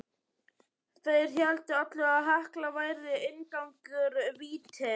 Þeir héldu allavega að Hekla væri inngangur vítis.